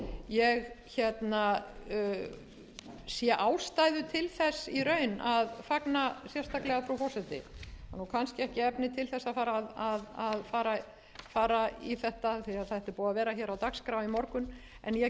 ég sé ástæðu til þess í raun að fagna sérstaklega frú forseti það eru kannski ekki efni til þess að fara að fara í þetta því að þetta er búið að ár hér á dagskrá í morgun en ég